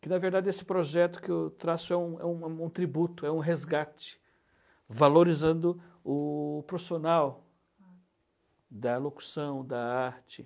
que, na verdade, esse projeto que eu traço é um é um é um tributo, é um resgate, valorizando o profissional da locução, da arte.